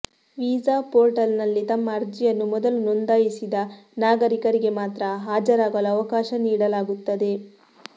visa ಪೋರ್ಟಲ್ನಲ್ಲಿ ತಮ್ಮ ಅರ್ಜಿಯನ್ನು ಮೊದಲು ನೋಂದಾಯಿಸಿದ ನಾಗರಿಕರಿಗೆ ಮಾತ್ರ ಹಾಜರಾಗಲು ಅವಕಾಶ ನೀಡಲಾಗುತ್ತದೆ